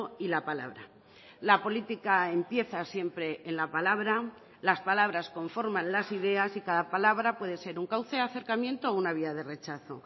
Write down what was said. y la palabra la política empieza siempre en la palabra las palabras conforman las ideas y cada palabra puede ser un cauce de acercamiento o una vía de rechazo